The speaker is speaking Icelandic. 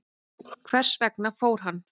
Hvers vegna fór hann?